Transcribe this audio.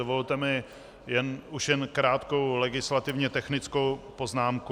Dovolte mi už jen krátkou legislativně technickou poznámku.